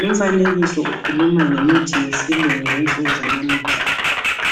Lumfanekiso ukhuluma ngemithi yesilungu yensuku zanamuhla.